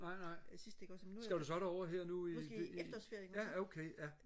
nej nej skal du så derover her nu i ja okay ja